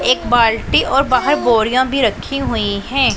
एक बाल्टी और बाहर बोरियां भी रखी हुई है।